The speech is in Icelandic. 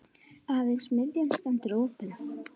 Aðeins miðjan stendur opin.